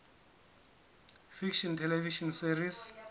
fiction television series